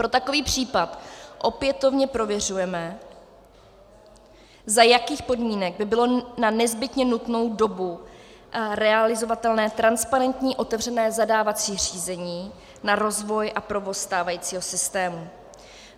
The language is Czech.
Pro takový případ opětovně prověřujeme, za jakých podmínek by bylo na nezbytně nutnou dobu realizovatelné transparentní otevřené zadávací řízení na rozvoj a provoz stávajícího systému.